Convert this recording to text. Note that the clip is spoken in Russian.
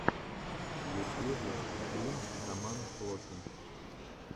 в ютьюбе стрим роман флоки